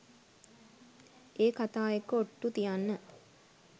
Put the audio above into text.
ඒ කතා එක්ක ඔට්‍ටු තියන්න